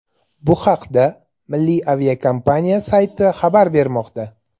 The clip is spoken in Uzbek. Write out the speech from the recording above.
Bu haqda milliy aviakompaniya sayti xabar bermoqda .